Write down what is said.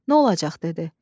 Nə olacaq dedi.